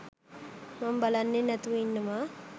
මම බලන්නේ නැතිව ඉන්නවා.